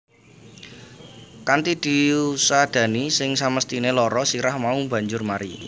Kanthi diusadani sing samesthine lara sirah mau banjur mari